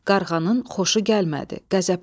Qarğanın xoşu gəlmədi, qəzəbləndi.